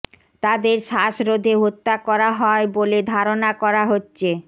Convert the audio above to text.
তাদের শ্বাসরোধে হত্যা করা হয় বলে ধারণা করা হচ্ছে